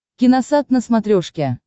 киносат на смотрешке